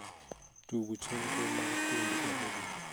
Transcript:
tug chenro mag thumbe e redio